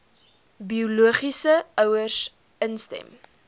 biologiese ouers instem